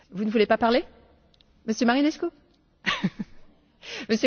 În urmă cu 25 de ani, internetul era de domeniul SF ului.